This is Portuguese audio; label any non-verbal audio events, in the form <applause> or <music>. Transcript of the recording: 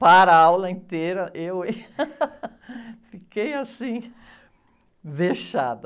Para a aula inteira, eu, hein, <laughs> fiquei assim, vexada.